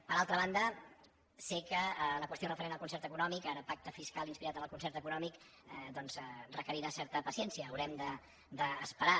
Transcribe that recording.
per altra banda sé que la qüestió referent al concert econòmic ara pacte fiscal inspirat en el concert econòmic requerirà certa paciència haurem d’esperar